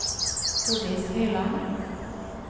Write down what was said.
Tordis Høyland